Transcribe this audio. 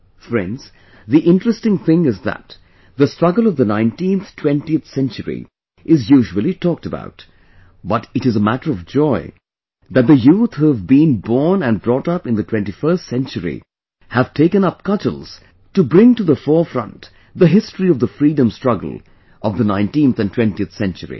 Friends, the interesting thing is that the Struggle of the 19th 20th century is usually talked about, but it is a matter of joy that the youth who have been born and brought up in the 21st century have taken up cudgels to bring to the forefront the history of the Freedom Struggle of 19th and 20th century